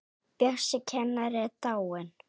Bjössi kennari er dáinn.